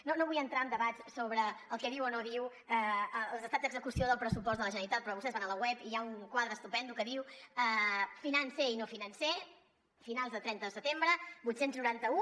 no vull entrar en debats sobre el que diu o no diu l’estat d’execució del pressupost de la generalitat però vostès van a la web i hi ha un quadre estupend que diu financer i no financer finals de trenta de setembre vuit cents i noranta un